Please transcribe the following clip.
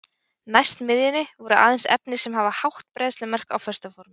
Næst miðjunni voru aðeins efni sem hafa hátt bræðslumark á föstu formi.